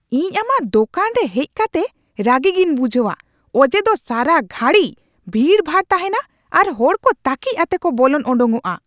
ᱤᱧ ᱟᱢᱟᱜ ᱫᱳᱠᱟᱱ ᱨᱮ ᱦᱮᱡ ᱠᱟᱛᱮ ᱨᱟᱹᱜᱤ ᱜᱮᱧ ᱵᱩᱡᱷᱟᱹᱣᱟ ᱚᱡᱮ ᱫᱚ ᱥᱟᱨᱟ ᱜᱷᱟᱹᱲᱤ ᱵᱷᱤᱲᱼᱵᱷᱟᱲ ᱛᱟᱦᱮᱱᱟ ᱟᱨ ᱦᱚᱲ ᱠᱚ ᱛᱟᱹᱠᱤᱡ ᱟᱛᱮ ᱠᱚ ᱵᱚᱞᱚᱱ ᱚᱰᱳᱠᱚᱜᱼᱟ ᱾